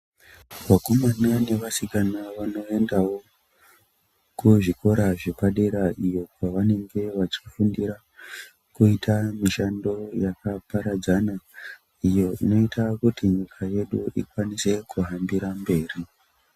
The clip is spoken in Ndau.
Vakomana nevasikana vanoendawo kuzvikora zvepadera iyo kwavanenge vachifundira kuita mushando yakaparadzana iyo inoita kuti nyika yedu ikwanise kuangira mberi.